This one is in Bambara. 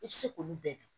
I bɛ se k'olu bɛɛ dun